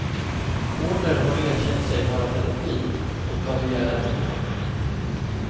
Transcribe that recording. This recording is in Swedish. Porter har erkänt sig vara pedofil och har begärt att få vård.